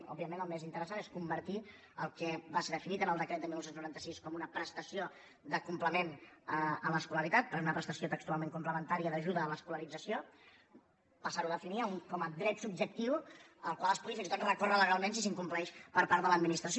òbviament el més interessant és convertir el que va ser definit en el decret de dinou noranta sis com una prestació de complement a l’escolaritat perquè era una prestació textualment complementària d’ajuda a l’escolarització passar ho a definir com a dret subjectiu al qual es pugui fins i tot recórrer legalment si s’incompleix per part de l’administració